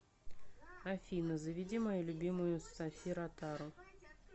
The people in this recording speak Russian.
афина заведи мою любимую софи ротару